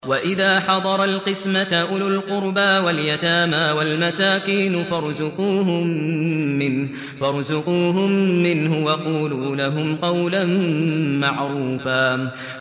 وَإِذَا حَضَرَ الْقِسْمَةَ أُولُو الْقُرْبَىٰ وَالْيَتَامَىٰ وَالْمَسَاكِينُ فَارْزُقُوهُم مِّنْهُ وَقُولُوا لَهُمْ قَوْلًا مَّعْرُوفًا